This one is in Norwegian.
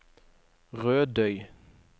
Rødøy